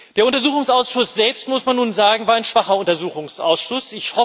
Der Untersuchungsausschuss selbst, muss man nun sagen, war ein schwacher Untersuchungsausschuss.